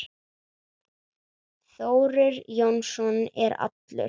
Þórir Jónsson er allur.